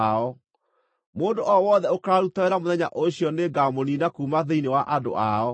Mũndũ o wothe ũkaaruta wĩra mũthenya ũcio nĩngamũniina kuuma thĩinĩ wa andũ ao.